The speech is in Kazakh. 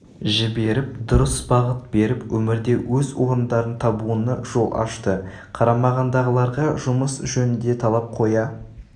жіберіп дұрыс бағыт беріп өмірде өз орындарын табуына жол ашты қарамағындағыларға жұмыс жөнінде талап қоя